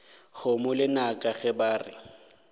kgomo lenaka ge ba re